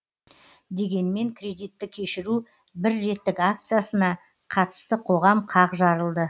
дегенмен кредитті кешіру бір реттік акциясына қатысты қоғам қақ жарылды